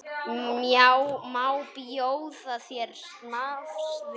Má bjóða þér snafs, vinur?